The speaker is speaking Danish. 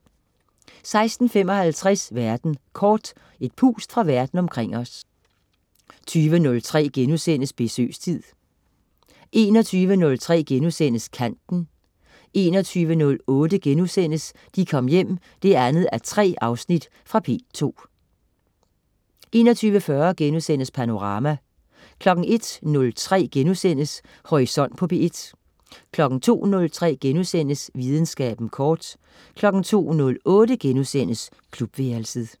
16.55 Verden kort. Et pust fra Verden omkring os 20.03 Besøgstid* 21.03 Kanten* 21.08 De Kom Hjem 2:3.* Fra P2 21.40 Panorama* 01.03 Horisont på P1* 02.03 Videnskaben kort* 02.08 Klubværelset*